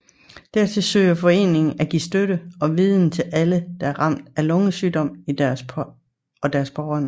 Dertil søger foreningen at give støtte og viden til alle der er ramt af lungesygdom og deres pårørende